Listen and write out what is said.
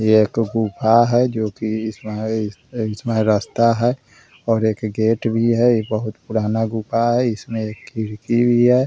ये एक गुफा है जो की इसमे हैं इसमे रास्ता है और एक गेट भी है इ बहुत पुराना गुफा भी है इसमें खिड़की भी है ।